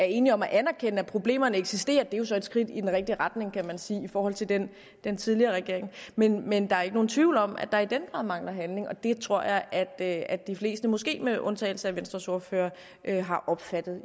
enige om at anerkende at problemerne eksisterer det er jo så et skridt i den rigtige retning kan man sige i forhold til den den tidligere regering men men der er ikke nogen tvivl om at der i den grad mangler handling og det tror jeg at at de fleste måske med undtagelse af venstres ordfører har opfattet